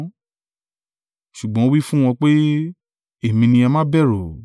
Ṣùgbọ́n ó wí fún wọn pé, “Èmi ni; ẹ má bẹ̀rù.”